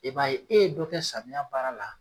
I b'a ye e ye dɔ kɛ samiya baara la